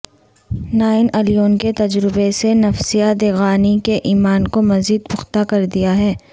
nine eleven کے تجربے نے نفیسہ دیگانی کے ایمان کو مزید پختہ کر دیا ہے